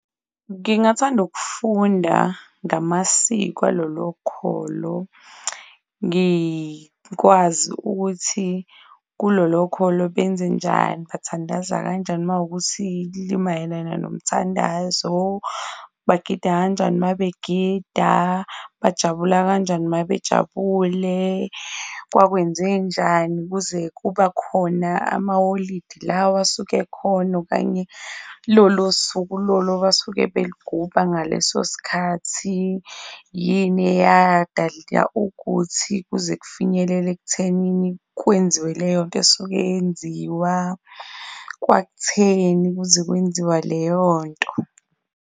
Ngingathanda ukufunda ngamasiko kwalolo kholo ngikwazi ukuthi kulolo kholo benzenjani, bathandaza kanjani uma kuwukuthi limayelana nomthandazo, bagida kanjani uma begida, bajabula kanjani uma bejabule, kwakwenzenjani kuze kuba khona amaholidi lawa asuke ekhona, okanye lolo suku lolo abasuke beligubha ngaleso sikhathi. Yini eyadalela ukuthi kuze kufinyelele ekuthenini kwenziwe leyo nto esuke yenziwa, kwakutheni kuze kwenziwa leyo nto?